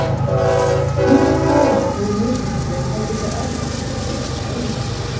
Hlutverk goðanna voru mismunandi og höfðu þau öll einhverja sérstaka eiginleika.